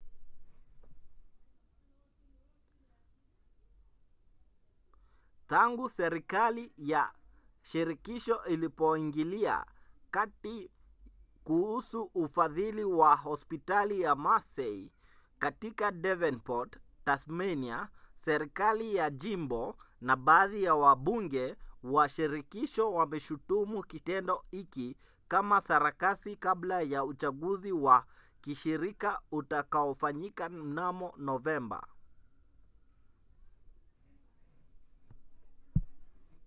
tangu serikali ya shirikisho ilipoingilia kati kuhusu ufadhili wa hospitali ya mersey katika davenport tasmania serikali ya jimbo na baadhi ya wabunge wa shirikisho wameshutumu kitendo hiki kama sarakasi kabla ya uchaguzi wa kishirika utakaofanyika mnamo novemba